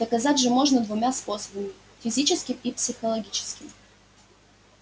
доказать же можно двумя способами физическим и психологическим